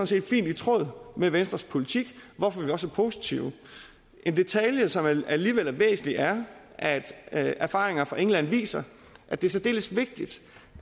set fint i tråd med venstres politik hvorfor vi også er positive en detalje som alligevel er væsentlig er at at erfaringer fra england viser at det er særdeles vigtigt